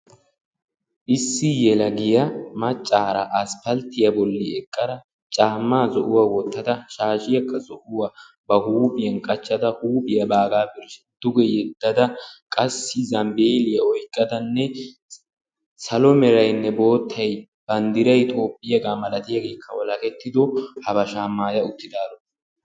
Issi yelagiya maccaara aspalttiya bolli eqada, caamma zo"uwa wottada, shaashiyakka zo"uwa ba huuphiyan qachchada. Huuphiya baagaa birshsha duge yeddada, qassi zambeelliya oyiqq. adanne salo merayinne boottay bandiray toophiyaaga malatiyaageekka walakettido habashaa maaya uttidaaro.